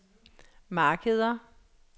markeder